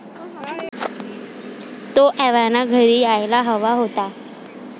तो एव्हाना घरी यायला हवा होता.